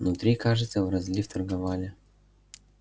внутри кажется в розлив торговали